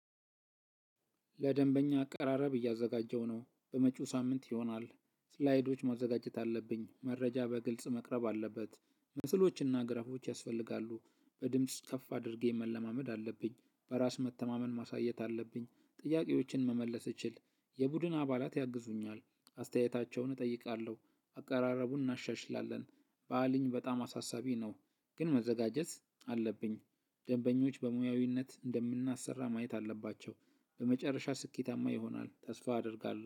ለደንበኛ አቀራረብ እያዘጋጀሁ ነው። በመጪው ሳምንት ይሆናል። እስላይዶች ማዘጋጀት አለብኝ መረጃ በግልጽ መቅረብ አለበት። ምስሎች እና ግራፎች ያስፈልጋሉ። በድምጽ ከፍ አድርጌ መለማመድ አለብኝ። በራስ መተማመን ማሳየት አለብኝ። ጥያቄዎችን መመለስ ብችል። የቡድን አባላት ያግዙኛል። አስተያየታቸውን እጠይቃለሁ። አቀራረቡን እናሻሽላለን። በዓልኝ በጣም አሳሳቢ ነው። ግን መዘጋጀት አለብኝ። ደንበኞች በሙያዊነት እንደምናሰራ ማየት አለባቸው። በመጨረሻ ስኬታማ ይሆናል ተስፋ አደርጋለሁ